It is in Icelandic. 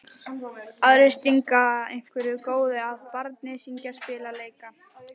Aðrir að stinga einhverju góðu að barni, syngja, spila, leika.